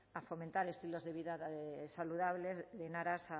a fomentar estilos de vida saludables en aras